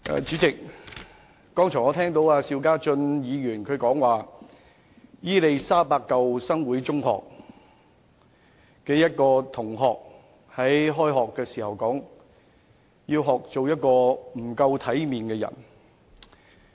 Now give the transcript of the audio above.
主席，我剛才聽到邵家臻議員提到，伊利沙伯中學舊生會中學一名學生，在開學時說她要學做一個不夠體面的人。